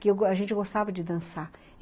que a gente gostava de dançar.